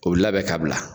O bɛ labɛn ka bila